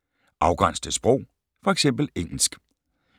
Afgræns til sprog: fx engelsk